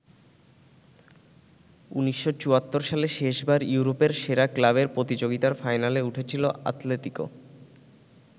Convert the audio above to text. ১৯৭৪ সালে শেষবার ইউরোপের সেরা ক্লাবের প্রতিযোগিতার ফাইনালে উঠেছিল আতলেতিকো।